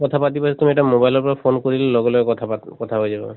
পাতিব আছে তুমি এটা mobile ৰ পৰা phone কৰিলে লগে লগে কথা পাত কথা হৈ যাব।